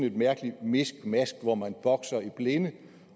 et mærkeligt miskmask hvor man bokser i blinde